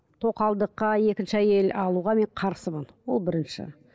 тоқалдыққа екінші әйел алуға мен қарсымын ол бірінші